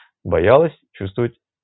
боялась чувствовать